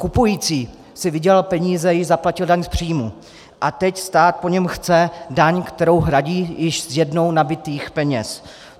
Kupující si vydělal peníze, již zaplatil daň z příjmu, a teď stát po něm chce daň, kterou hradí z již jednou nabytých peněz.